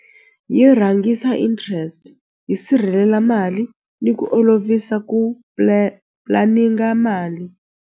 Yi rhangisa interest yi sirhelela mali ni ku olovisa ku mali.